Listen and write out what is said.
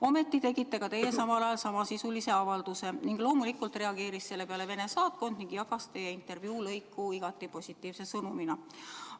Ometi tegite ka teie samal ajal samasisulise avalduse ning loomulikult reageeris selle peale Vene saatkond ja jagas teie intervjuulõiku igati positiivse sõnumina.